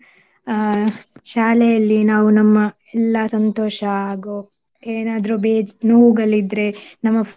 ಅಹ್ ಶಾಲೆಯಲ್ಲಿ ನಾವು ನಮ್ಮ ಎಲ್ಲಾ ಸಂತೋಷ ಹಾಗೂ ಏನಾದ್ರೂ ಬೇಜ್~ ನೋವುಗಳಿದ್ರೆ ನಮ್ಮ